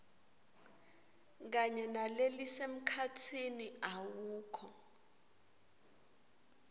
kanye nalelisemkhatsini awukho